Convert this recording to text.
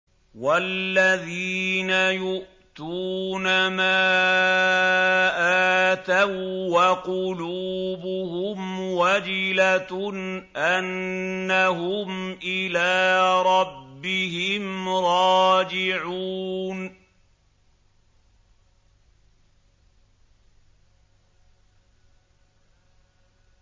وَالَّذِينَ يُؤْتُونَ مَا آتَوا وَّقُلُوبُهُمْ وَجِلَةٌ أَنَّهُمْ إِلَىٰ رَبِّهِمْ رَاجِعُونَ